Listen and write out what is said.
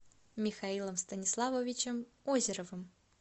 михаилом станиславовичем озеровым